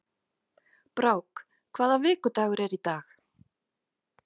Brák, hvaða vikudagur er í dag?